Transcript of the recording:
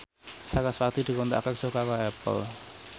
sarasvati dikontrak kerja karo Apple